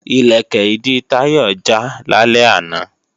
Ìlẹ̀kẹ̀ ìdí Táyọ̀ já lálẹ́ àná